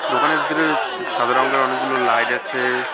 দোকানের ভেতরে স সাদা রঙের অনেকগুলো লাইট আছে।